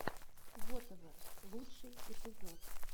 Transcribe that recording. вотэвер лучший эпизод